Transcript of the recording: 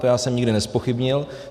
To já jsem nikdy nezpochybnil.